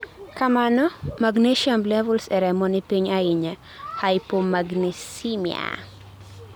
kamano, magnesium levels e remo ni piny ahinya(hypomagnesemia)